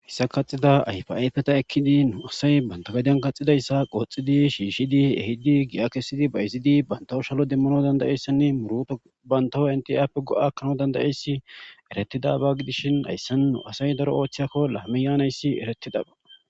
Hissa kaxida ayfa ayfeta ekkidi nu asay bantagadiyan kaxidayssa qooxidi shiishidi ehidi gi'a kessidi ba izidi bantawo shalo demmano dandayeyssinne muruto bantawo entiaappe go'akanao dandayeyssi eretida ba gidishin hayssin nu asay daro oothcheyakko lahame yaanayssi eretidaba